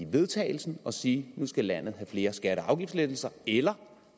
vedtagelse og sige at nu skal landet have flere skatte og afgiftslettelser eller